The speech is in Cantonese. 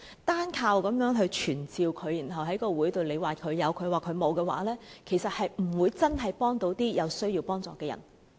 單靠傳召署長，然後在會上各有各的說法，其實不會真正幫到有需要幫助的人。